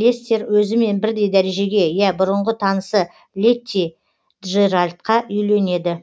лестер өзімен бірдей дәрежеге ие бұрынғы танысы летти джеральдқа үйленеді